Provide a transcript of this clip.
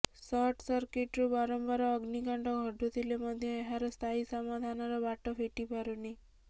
ସର୍ଟିସର୍କିଟରୁ ବାରମ୍ବାର ଅଗ୍ନିକାଣ୍ଡ ଘଟୁଥିଲେ ମଧ୍ୟ ଏହାର ସ୍ଥାୟୀ ସମାଧାନର ବାଟ ଫିଟିପାରୁନି